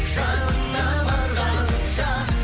жанына барғаныңша